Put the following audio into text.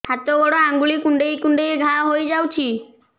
ହାତ ଗୋଡ଼ ଆଂଗୁଳି କୁଂଡେଇ କୁଂଡେଇ ଘାଆ ହୋଇଯାଉଛି